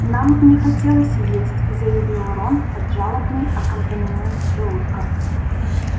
нам не хотелось есть заявил рон под жалобный аккомпанемент желудка